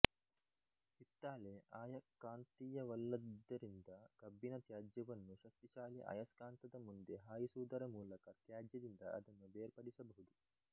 ಹಿತ್ತಾಳೆ ಅಯಃಕಾಂತೀಯವಲ್ಲದ್ದರಿಂದ ಕಬ್ಬಿಣತ್ಯಾಜ್ಯವನ್ನು ಶಕ್ತಿಶಾಲಿ ಅಯಸ್ಕಾಂತದ ಮುಂದೆ ಹಾಯಿಸುವುದರ ಮೂಲಕ ತ್ಯಾಜ್ಯದಿಂದ ಅದನ್ನು ಬೇರ್ಪಡಿಸಬಹುದು